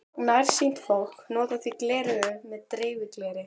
Nærsýnt fólk notar því gleraugu með dreifigleri.